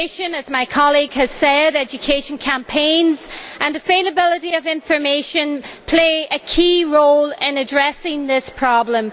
As my colleague has said, education campaigns and the availability of information play a key role in addressing this problem.